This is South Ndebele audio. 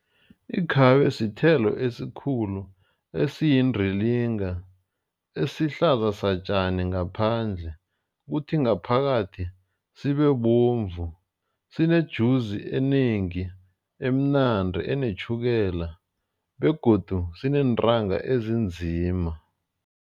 Ikhabe sithelo esikhulu eyisindilinga esihlaza satjani ngaphandle. Kuthi ngaphakathi sibe bovu sinejuzi enengi emnandi enetjhukela begodu sineentanga ezinzima.